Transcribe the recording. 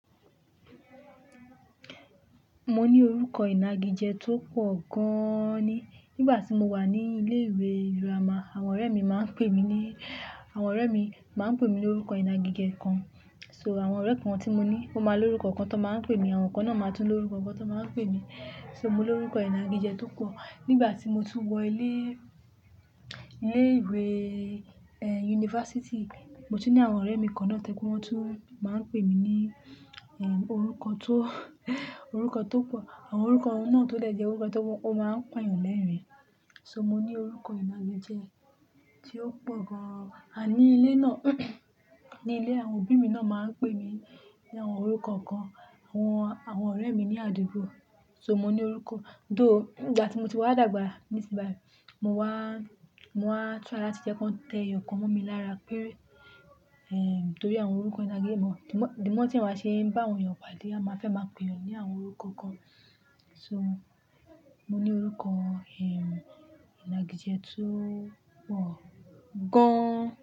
Mo ní orúkọ ìnagijẹ tó pọ̀ gáán ni. Nígbà tí mo wà ní ilé ìwé girama, àwọn ọ̀rẹ́ mi máa ń pè mí ní, àwọn ọ̀rẹ́ mi máa ń pè mí lórúkọ ìnagijẹ kan. So àwọn ọ̀rẹ́ kan tí mo ní ó máa lórúkọ kan tó máa ń pè mí, àwọn kan náà máa tún lórúkọ kan tó máa ń pè mí. So mo ní orúkọ ìnagijẹ tó pọ̀. Nígbà tí mo tún wọ ilé, ilé ìwé, yunifásítì, mo ti ní àwọn ọ̀rẹ́ mi kan náà tẹ́ kí wọ́n tún máa ń pè mí ní, ehn, orúkọ tó, orúkọ tó pọ̀. Àwọn orúkọ ọ̀wọ́n náà tó lẹ̀ jẹ́ orúkọ tó wọ́n máa ń pàyàn lẹ́rìn-ín. So mo ní orúkọ ìnagijẹ tí ó pọ̀ gan-an. Àní ilé náà, ní ilé àwọn òbí mi náà máa ń pè mí ní àwọn orúkọ kan, àwọn, àwọn ọ̀rẹ́ mi ní àdúgbò. So mo ní orúkọ-- tó ìgbà tí mo ti wá dàgbà, ní sì bá, mo wá, mo wá tú àrà tí jẹ́ kó tẹ eyọ̀ kan mú mi lára péré, ehn, nítorí àwọn orúkọ ìnagijẹ mọ. Dìmọ́, dìmọ́ tí màá ṣe ń bá àwọn èèyàn padà, màá fẹ́ máa pè wọ́n ní àwọn orúkọ kan. So mo ní orúkọ, ehn, ìnagijẹ tó pọ̀ gáán.